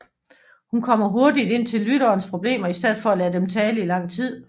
Hun kommer hurtigt ind til lytterens problemer i stedet for at lade dem tale i lang tid